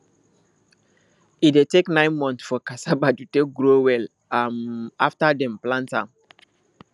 e dey take nine months for cassava to take grow well um after dem plant am